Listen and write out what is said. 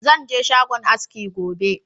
Zan je shagon aski gobe.